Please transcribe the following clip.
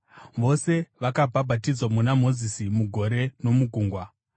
Vose vakabhabhatidzwa muna Mozisi mugore nomugungwa.